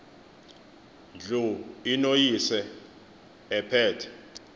ndlu inoyise ephethe